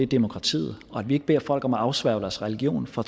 demokratiet og at vi ikke beder folk om at afsværge deres religion for